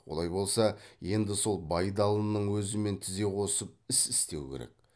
олай болса енді сол байдалының өзімен тізе қосып іс істеу керек